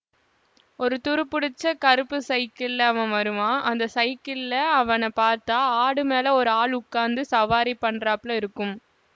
ஒரு துருப்பிடிச்ச கறுப்பு சைக்கிளிலே அவன் வருவான் அந்த சைக்கிளிலே அவனை பார்த்தா ஆடு மேலே ஒரு ஆள் உக்காந்து சவாரி பண்றாப்ல இருக்கும்